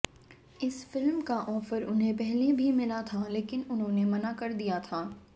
इस फिल्म का ऑफर उन्हें पहले भी मिला था लेकिन उन्होंने मना कर दिया था